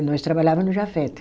Nós trabalhava no Jafet.